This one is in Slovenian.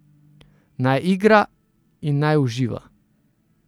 Naj igra in naj uživa.